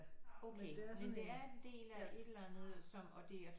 Okay men det er en del af et eller andet som og det